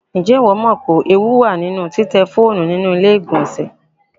Ǹjẹ́ ìwọ mọ̀ pé ewu wà nínú títẹ fóònù ní ilé ìgbọlnsẹ̀?